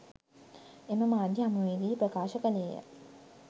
එම මාධ්‍ය හමුවේ දී ප්‍රකාශ කළේය.